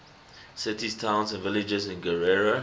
cities towns and villages in guerrero